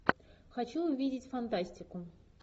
хочу увидеть фантастику